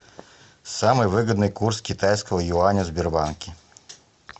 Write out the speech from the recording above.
самый выгодный курс китайского юаня в сбербанке